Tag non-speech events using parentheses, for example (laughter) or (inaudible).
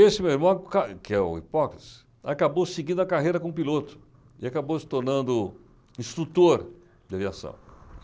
Esse meu irmão, (unintelligible) que é o hipócrites, acabou seguindo a carreira como piloto e acabou se tornando instrutor de aviação.